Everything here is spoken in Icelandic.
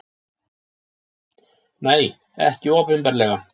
Nei, ekki opinberlega.